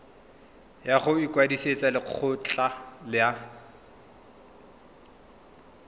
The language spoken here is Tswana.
ya go ikwadisetsa lekgetho la